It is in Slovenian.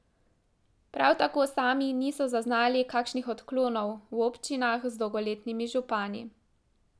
Prav tako sami niso zaznali kakšnih odklonov v občinah z dolgoletnimi župani.